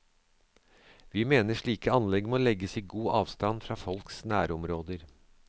Vi mener slike anlegg må legges i god avstand fra folks nærområder.